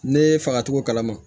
Ne ye faga cogo kalama